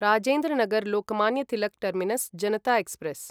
Rajendra Nagar Lokmanya Tilak terminus Janata express